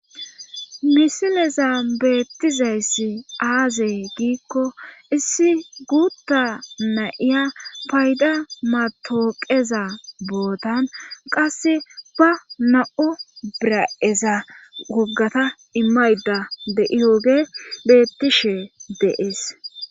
misileza beettizayssi aazey giikko issi guutta nayiya payda matooqeza bootan qasse ba na7o bira7eza woggata imayda deiyooge beettishe deees